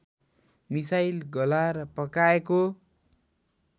मिसाई गलाएर पकाएको